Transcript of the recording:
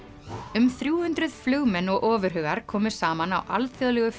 um þrjú hundruð flugmenn og ofurhugar komu saman á Alþjóðlegu